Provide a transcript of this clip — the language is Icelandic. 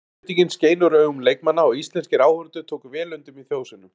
Einbeitingin skein úr augun leikmanna og íslenskir áhorfendur tóku vel undir með þjóðsöngnum.